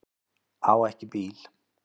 Á ekki bíl